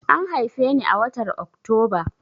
An haife ni a watar Oktoba.